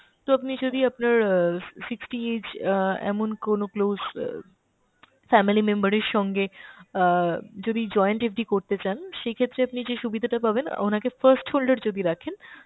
তো আপনি যদি আপনার অ্যাঁ sixty age অ্যাঁ এমন কোনো close অ্যাঁ family member এর সঙ্গে আহ যদি joint FD করতে চান সেই ক্ষেত্রে আপনি যে সুবিধাটা পাবেন ওনাকে first holder যদি রাখেন